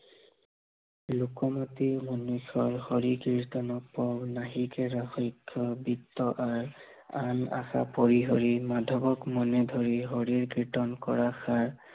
লোক মুৰ্তি, মনুষ্য়, হৰি কীৰ্তন পৰম, নাহিকে ৰাখ বৃত্ত আৰ, আন আশা পৰি হৰি মাধৱক মনে ধৰি, হৰিৰ কীৰ্তন কৰা সাৰ